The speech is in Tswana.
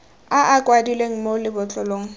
a a kwadilweng mo lebotlolong